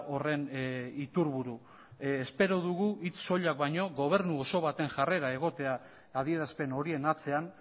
horren iturburu espero dugu hitz soilak baino gobernu oso baten jarrera egotea adierazpen horien atzean